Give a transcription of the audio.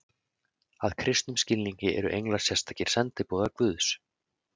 að kristnum skilningi eru englar sérstakir sendiboðar guðs